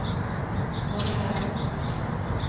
marsjer